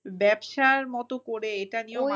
ব্যবসার মতো করে এটা নিয়েও